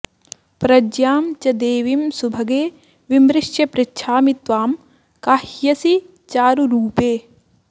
प्रज्ञां च देवीं सुभगे विमृश्य पृच्छामि त्वां काह्यसि चारुरूपे